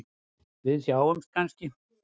Við sjáumst kannski?